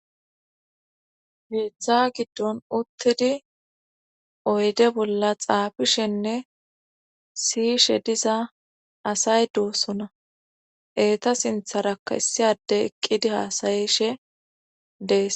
Keeththa giddon uttidi oyde bolla xaabishenne siyishe diza asay doosona eeta sintharakka issi ade eqqidi haasayishe dees.